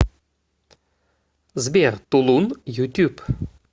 сбер тулун ютюб